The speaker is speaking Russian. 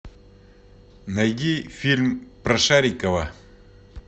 найди фильм про шарикова